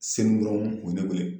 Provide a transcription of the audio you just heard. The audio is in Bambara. Sen dɔrɔn u ye ne weele